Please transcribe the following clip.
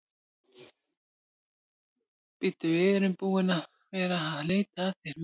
Bíddu, við erum búin að vera að leita að þér úti um allt.